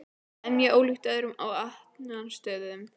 Það er mjög ólíkt öðrum afvötnunarstöðvum.